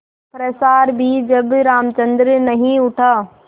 पश्चार भी जब रामचंद्र नहीं उठा